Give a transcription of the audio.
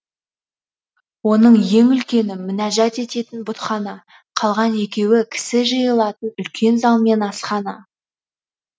оның ең үлкені мінәжат ететін бұтхана қалған екеуі кісі жиылатын үлкен зал мен асхана